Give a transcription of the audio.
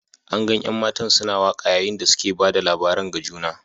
An gan an'matan suna waka yayin da suke ba da labarin ga juna.